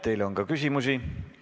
Teile on ka küsimusi.